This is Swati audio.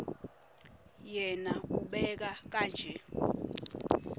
yena ubeka kanje